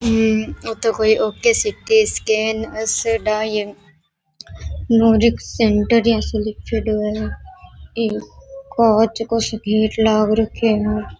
येतो कोई okay C T scan diagnostic centre लिखेड़ो है कांच का सो गेट लाग रखयो है।